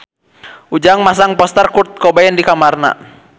Ujang masang poster Kurt Cobain di kamarna